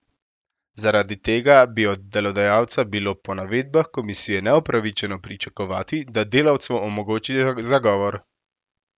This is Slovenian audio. Zaradi tega bi od delodajalca bilo po navedbah komisije neupravičeno pričakovati, da delavcu omogoči zagovor.